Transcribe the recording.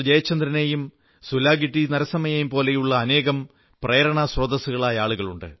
ജയചന്ദ്രനെയും സുലാഗിട്ടി നരസമ്മയെപ്പോലെയുമുള്ള ആനേകം പ്രേരണാസ്രോതസ്സുകളായ ആളുകളുണ്ട്